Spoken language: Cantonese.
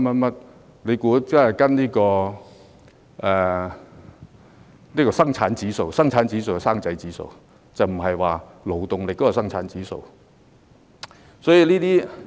大家別以為是跟隨生產指數即"生仔指數"，而不是關於勞動力的生產指數。